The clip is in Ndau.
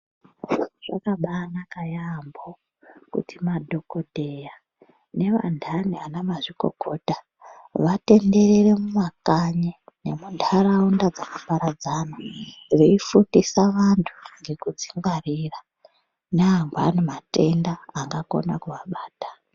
Zvakabanaka yambo kuti madhokodheya nevandani vana mazvikokota, vatenderere mumakanyi, nemundaraunda dzakaparadzana veyifundisa vantu ngekudzingwarira nangwani matenda angakona kuvabata.